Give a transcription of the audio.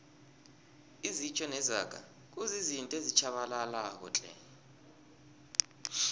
izitjho nezaga kuzizinto ezitjhabalalako tle